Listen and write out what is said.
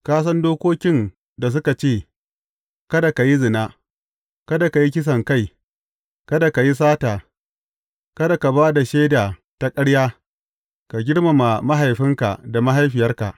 Ka san dokokin da suka ce, Kada ka yi zina, kada ka yi kisankai, kada ka yi sata, kada ka ba da shaida ta ƙarya, ka girmama mahaifinka da mahaifiyarka.’